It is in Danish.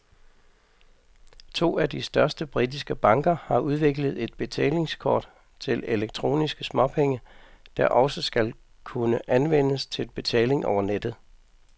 To af de største britiske banker har udviklet et betalingskort til elektroniske småpenge, der også skal kunne anvendes til betaling over nettet.